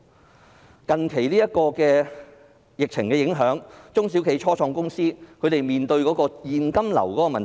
受近期的疫情影響，中小企、初創公司面對特別大的現金流問題。